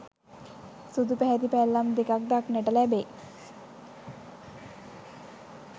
සුදු පැහැති පැල්ලම් දෙකක් දක්නට ලැබෙයි